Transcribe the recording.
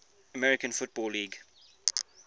american football league